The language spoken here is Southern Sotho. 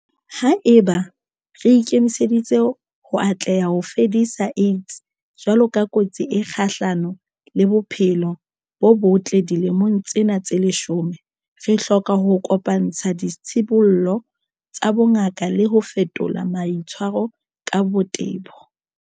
Haeba re ikemiseditse ho atleha ho fedisa AIDS jwalo ka kotsi e kgahlano le bophelo bo botle dilemong tsena tse leshome, re hloka ho kopa-ntsha ditshibollo tsa bongaka le ho fetola maitshwaro ka botebo.